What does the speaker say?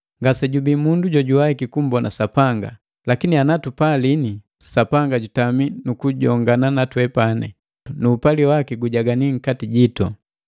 Ngasejubii mundu jojuwaiki kummbona Sapanga; lakini ana tupalini, Sapanga jutami mukujongana natwepani, nuupali waki gujagani nkati jitu.